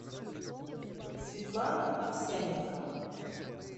светлана овсянникова